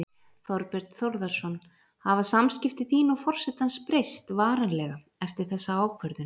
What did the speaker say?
Þorbjörn Þórðarson: Hafa samskipti þín og forsetans breyst varanlega eftir þessa ákvörðun?